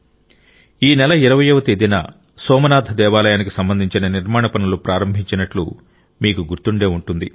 ఈ నెల 20 వ తేదీన సోమనాథ దేవాలయానికి సంబంధించిన నిర్మాణ పనులు ప్రారంభించినట్లు మీకు గుర్తుండే ఉంటుంది